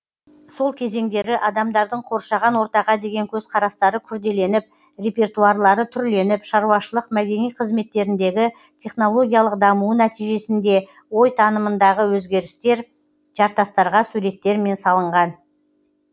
сол кезеңдері адамдардың қоршаған ортаға деген көзқарастары күрделеніп репертуарлары түрленіп шаруашылық мәдени қызметтеріндегі технологиялық дамуы нәтижесінде ой танымындағы өзгерістер жартастарға суреттермен салынған